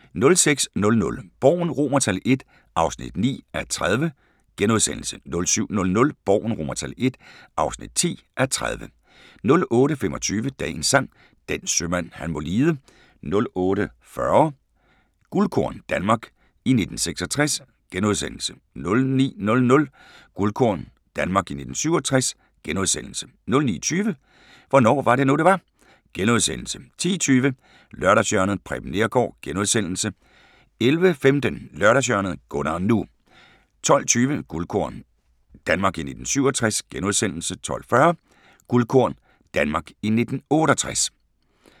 06:00: Borgen I (9:30)* 07:00: Borgen I (10:30) 08:25: Dagens Sang: Den sømand han må lide 08:40: Guldkorn – Danmark i 1966 * 09:00: Guldkorn – Danmark i 1967 * 09:20: Hvornår var det nu, det var? * 10:20: Lørdagshjørnet – Preben Neergaard * 11:15: Lørdagshjørnet - Gunnar NU 12:20: Guldkorn – Danmark i 1967 * 12:40: Guldkorn – Danmark i 1968